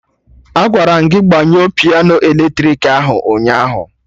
Agwara m gị gbanyụọ piano eletrik ahụ ụnyaahụ